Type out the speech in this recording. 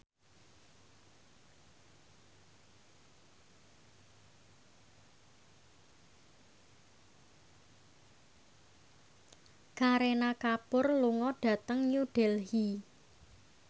Kareena Kapoor lunga dhateng New Delhi